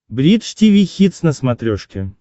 бридж тиви хитс на смотрешке